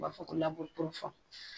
O b'a fɔ ko